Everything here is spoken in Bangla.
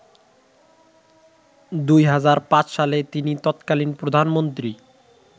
২০০৫ সালে তিনি তৎকালীন প্রধানমন্ত্রী